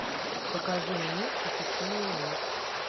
покажи мне похищение монет